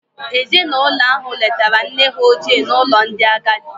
Ezinụlọ ahụ letara nne ha ochie n'ụlọ ndị agadi